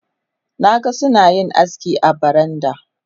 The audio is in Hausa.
Na ga suna yin aski a baranda.